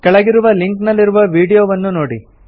ಕೆಳಗಿರುವ ಲಿಂಕ್ ನಲ್ಲಿರುವ ವೀಡಿಯೊವನ್ನು ನೋಡಿ